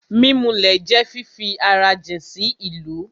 Mímulẹ̀ jẹ́ fífi ara jìn sí ìlú